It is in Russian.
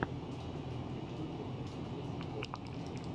в ютюбе денис окан